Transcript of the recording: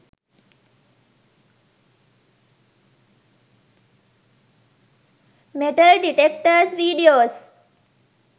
metal detectors videos